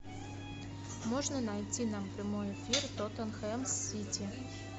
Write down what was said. можно найти нам прямой эфир тоттенхэм с сити